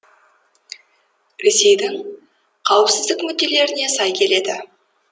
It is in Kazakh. ресейдің қауіпсіздік мүдделеріне сай келеді